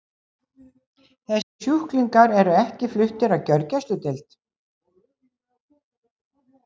Þessir sjúklingar eru ekki fluttir á gjörgæsludeild.